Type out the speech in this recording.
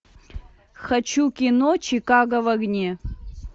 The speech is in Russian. хочу кино чикаго в огне